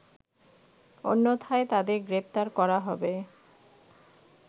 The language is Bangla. অন্যথায় তাদের গ্রেফতার করা হবে